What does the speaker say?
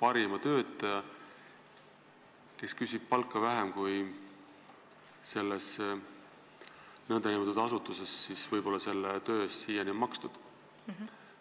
parima töötaja, kes küsib palka vähem, kui selles asutuses selle töö eest siiani on makstud?